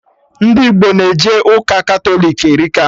Ndị Igbo na-eje ụka Katọlik erika